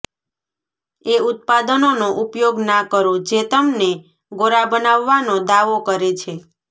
એ ઉત્પાદનોનો ઉપયોગ ના કરો જે તમને ગોરા બનાવવાનો દાવો કરે છે